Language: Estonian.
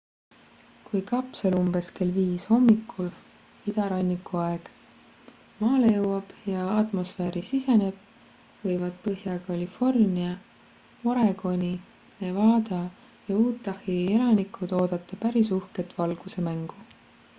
kui kapsel umbes kell 5 hommikul idaranniku aeg maale jõuab ja atmosfääri siseneb võivad põhja-california oregoni nevada ja utahi elanikud oodata päris uhket valgusemängu